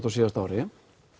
á síðasta ári